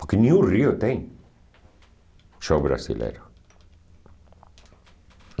Porque nem o Rio tem show brasileiro.